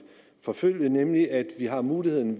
forfølge nemlig at vi har muligheden